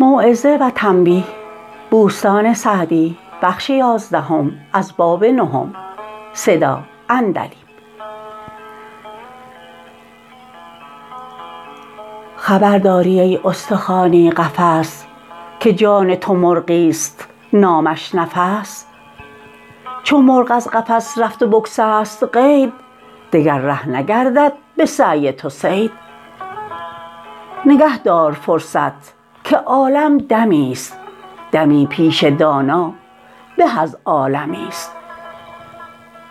خبر داری ای استخوانی قفس که جان تو مرغی است نامش نفس چو مرغ از قفس رفت و بگسست قید دگر ره نگردد به سعی تو صید نگه دار فرصت که عالم دمی است دمی پیش دانا به از عالمی است